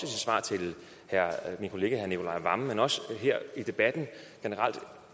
svar til min kollega herre nicolai wammen men også her i debatten generelt